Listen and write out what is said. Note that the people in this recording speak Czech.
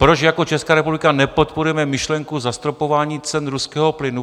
Proč jako Česká republika nepodporujeme myšlenku zastropování cen ruského plynu?